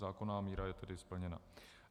Zákonná míra je tedy splněna.